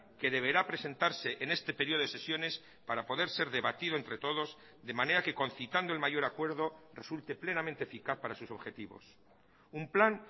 que deberá presentarse en este periodo de sesiones para poder ser debatido entre todos de manera que concitando el mayor acuerdo resulte plenamente eficaz para sus objetivos un plan